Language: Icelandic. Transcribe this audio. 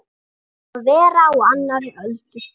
Að vera á annarri öldu